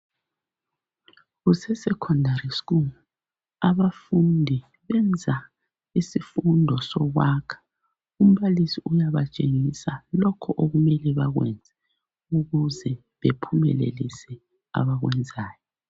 Kuse secondary school, abafundi benza isifundo sokwakha. Umbalisi uyabatshengisa lokho okumele bakwenze ukuze bephumelelise abakwenzayo